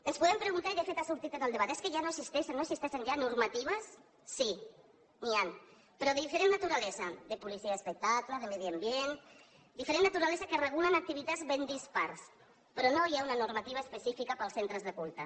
ens podem preguntar i de fet ha sortit en el debat és que ja no existeixen normatives sí n’hi han però de diferent naturalesa de policia i espectacle de medi ambient diferent naturalesa que regulen activitats ben dispars però no hi ha una normativa específica per als centres de culte